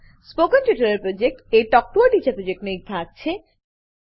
spoken tutorial project talk to a teacher પ્રોજેક્ટનો એક ભાગ છે